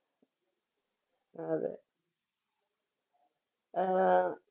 ആഹ് അതെ ആ